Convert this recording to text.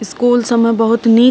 school सब में बहुत नी --